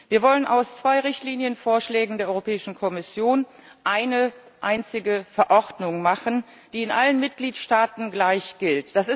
Wir wollen aus zwei Richtlinienvorschlägen der Europäischen Kommission eine einzige Verordnung machen, die in allen Mitgliedstaaten gleich gilt.